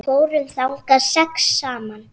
Við fórum þangað sex saman.